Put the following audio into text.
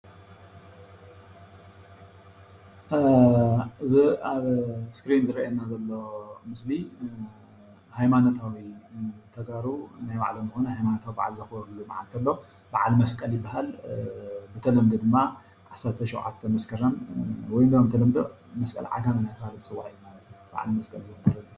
እዚ ኣብ እስክሪን ዝረአየና ዘሎ ምስሊ ሃይማኖታዊ ተጋሩ ናይ ባዕሎም ዝኾነ ሃይማኖት ዘኽበረሉ በዓል አሎ። በዓል መስቀል ይባሃል። ብተለምዶ ድማ ዓሰርተ ሸውዓተ መስከረም ወይ ድማ ብተለምዶ መስቀል ዓጋመ እንዳተባሃለ ዝፅዋዕ ማለት እዩ በዓል መስቀል።